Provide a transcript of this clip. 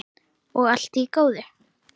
Og allt í góðu.